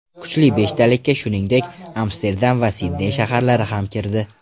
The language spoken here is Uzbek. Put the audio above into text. Kuchli beshtalikka, shuningdek, Amsterdam va Sidney shaharlari ham kirdi.